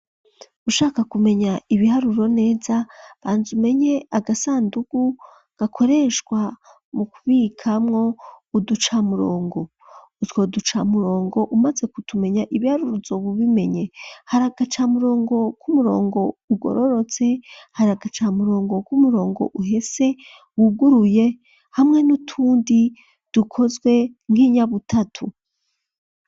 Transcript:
Ushaka kumenya ibiharuro neza, banza umenye agasandugu gakoreshwa mu kubikamwo uducamurongo. Utwo duca murongo umaze kutumenya ibiharuro uzobubimenye. Hari agacamurongo k'umurongo ugororotse, hari agacamurongo k'umurongo uhese wuguruye, hamwe n'utundi dukozwe nk'inyabutatu.